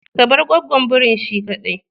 Ka bar gwaggon birin shi kadai.